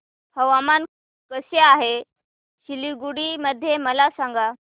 हवामान कसे आहे सिलीगुडी मध्ये मला सांगा